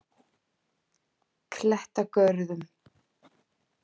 Klettagörðum